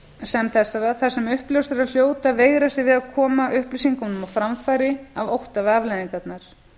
sem þessara þar sem uppljóstrarar hljóta að veigra sér við að koma upplýsingunum á framfæri af ótta við afleiðingarnar